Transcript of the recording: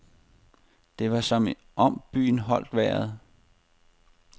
Det var som om byen holdt vejret.